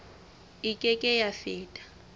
e ke ke ya feta